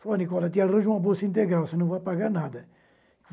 Falou, Nicola, te arranjo uma bolsa integral, você não vai pagar nada.